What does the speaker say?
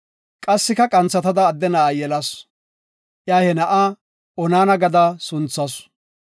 Qassika qanthatada adde na7a yelasu. Iya he na7a Onaana gada sunthasu.